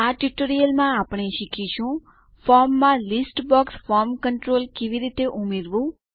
આ ટ્યુટોરીયલમાં આપણે શીખીશું160 ફોર્મમાં લીસ્ટ બોક્સ ફોર્મ કન્ટ્રોલ કેવી રીતે ઉમેરવું